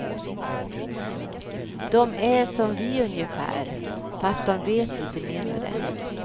Dom är som vi ungefär fast dom vet lite mindre.